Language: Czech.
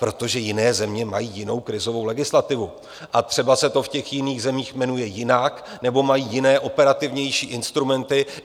Protože jiné země mají jinou krizovou legislativu a třeba se to v těch jiných zemích jmenuje jinak, nebo mají jiné, operativnější instrumenty.